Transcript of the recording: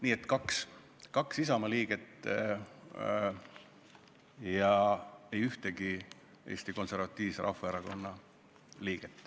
Nii et kaks Isamaa liiget ja ei ühtegi Eesti Konservatiivse Rahvaerakonna liiget.